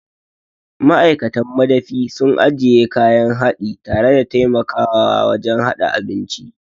Ma'aikatan madafi suna ajiye kayan haɗi tare da taimakawa wajen haɗa abinci.